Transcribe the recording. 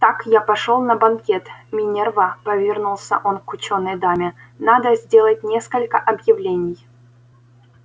так я пошёл на банкет минерва повернулся он к учёной даме надо сделать несколько объявлений